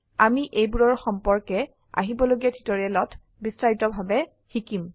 আমি এইবোৰৰ সম্পৰ্কে আসন্ন টিউটোৰিয়েল বিস্তাৰিত ভাবে শিকিম